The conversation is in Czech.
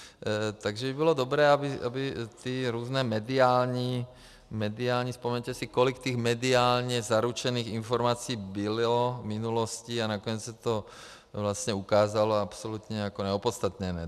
Takže by bylo dobré, aby ty různé mediální - vzpomeňte si, kolik těch mediálně zaručených informací bylo v minulosti, a nakonec se to vlastně ukázalo absolutně jako neopodstatněné.